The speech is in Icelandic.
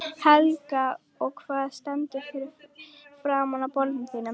Helga: Og hvað stendur framan á bolnum þínum?